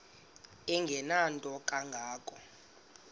engenanto kanga ko